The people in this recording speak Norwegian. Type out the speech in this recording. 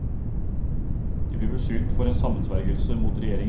De blir beskyldt for en sammensvergelse mot regjeringen.